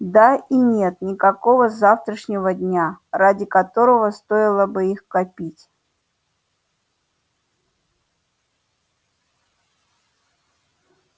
да и нет никакого завтрашнего дня ради которого стоило бы их копить